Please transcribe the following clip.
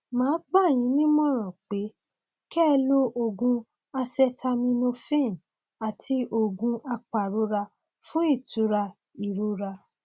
màá gbà yín nímọràn pé kẹ ẹ lo oògùn acetaminophen àti oògùn apàrora fún ìtura ìrora